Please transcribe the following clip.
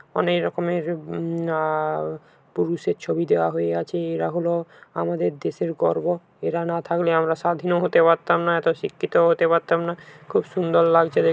অনেক রকমের উম আহ পুরুষের ছবি দেওয়া হয়ে আছে রাহুলও আমাদের দেশের গর্ব এরা না থাকলে আমরা স্বাধীনও হতে পারতাম না এত শিক্ষিত হতে পারতাম না খুব সুন্দর লাগছে দে--